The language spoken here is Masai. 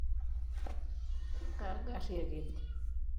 kaa garri aked?